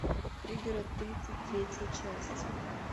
пригород тридцать третья часть